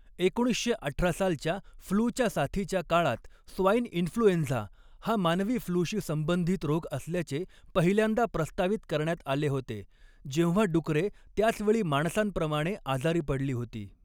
एकोणीसशे अठरा सालच्या फ्लूच्या साथीच्या काळात स्वाइन इन्फ्लुएंझा हा मानवी फ्लूशी संबंधित रोग असल्याचे पहिल्यांदा प्रस्तावित करण्यात आले होते, जेव्हा डुकरे त्याच वेळी माणसांप्रमाणे आजारी पडली होती.